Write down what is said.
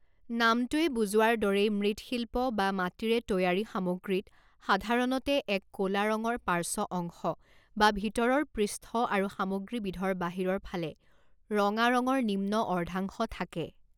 নামটোৱে বুজোৱাৰ দৰেই মৃৎশিল্প বা মাটিৰে তৈয়াৰী সামগ্ৰীত সাধাৰণতে এক ক'লা ৰঙৰ পাৰ্শ্ব অংশ বা ভিতৰৰ পৃষ্ঠ আৰু সামগ্ৰীবিধৰ বাহিৰৰ ফালে ৰঙা ৰঙৰ নিম্ন অৰ্ধাংশ থাকে।